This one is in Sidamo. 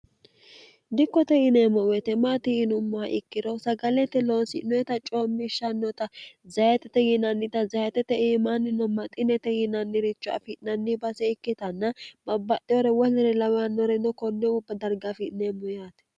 dikkote ineemmo woyitemaati inummoha ikkirohu sagalete loonsi'noeta coommishshannota zayitete yinannita zayetete iimaannino maxinete yinanniricho afi'nanni base ikkitanna mabbaxeyore wolnire lawannoreno konne ubba dargaafi'neemmo yaate